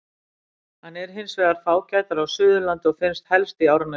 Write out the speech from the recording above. Hann er hins vegar fágætari á Suðurlandi og finnst helst í Árnessýslu.